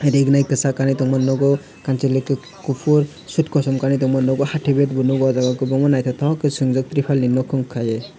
rignai kisak kanui tongmani nogo kansaloi kopor sot kosom kanoi tongmani nogo hati bag bo no ojaga o kobangma naitotok ke chowngjak tripal ni mokon kai oe.